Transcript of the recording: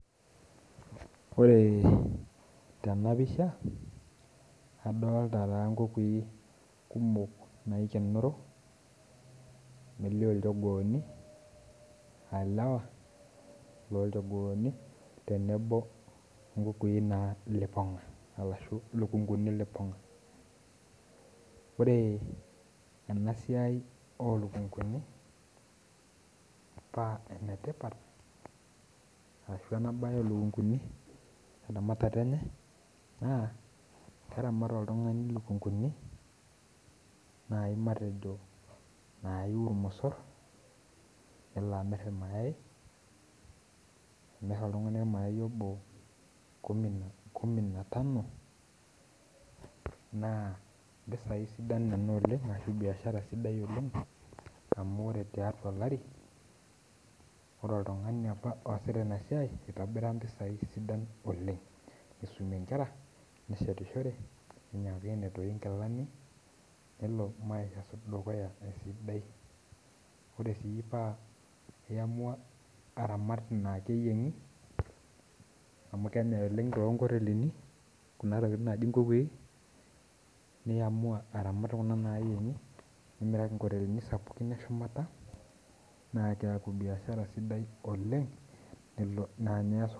Ore tenapisha, adolta taa nkukui kumok naikenoro, elio ijogooni, alewa lolchogooni, tenebo onkukui naa lipong'a arashu lukunkuni lipong'a. Ore enasiai olukunkuni, pa enetipat arashu enabae olukunkuni eramatata enye, naa keramat oltung'ani lukunkuni, nai matejo nayu irmosor nelo amir irmayai, imir oltung'ani ormayai obo kumi na tano, naa mpisai sidan nena oleng ashu biashara sidai oleng, amu ore tiatua olari, ore oltung'ani apa oosita inasiai itobira mpisai sidan oleng. Nisumie nkera, neshetishore, ninyang'unye toi nkilani, nelo maisha dukuya esidai. Ore si pa iamua aramat inaa keyieng'i, amu kenyai oleng tonkotelini kuna tokiting naji nkukui, niamua aramat kuna nayieng'i, nimiraki nkotelini sapukin eshumata, na keeku biashara sidai oleng, na nye eas